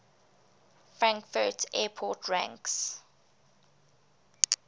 frankfurt airport ranks